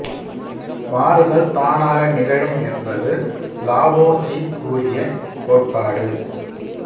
மாறுதல் தானாக நிகழும் என்பது லாவோ சீ கூறிய கோட்பாடு